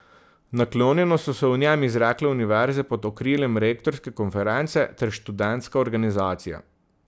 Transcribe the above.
Naklonjeno so se o njem izrekle univerze pod okriljem rektorske konference ter študentska organizacija.